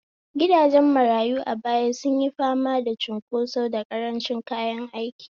Gidajen marayu a baya sun yi fama da cunkoso da karancin kayan aiki.